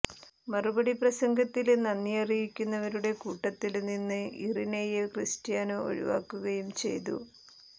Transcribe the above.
മറുപടി പ്രസംഗത്തില് നന്ദിഅറിയിക്കുന്നവരുടെ കൂട്ടത്തില് നിന്ന് ഇറിനയെ ക്രിസ്റ്റ്യാനോ ഒഴിവാക്കുകയും ചെയ്തു